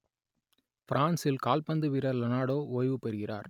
Brazil கால்பந்து வீரர் Ronaldo ஓய்வுபெறுகிறார்